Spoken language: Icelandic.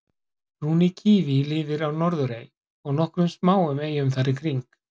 brúni kíví lifir á norðurey og nokkrum smáum eyjum þar í kring